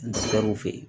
fe yen